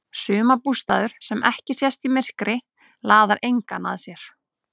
Sumarbústaður sem ekki sést í myrkri laðar engan að sér.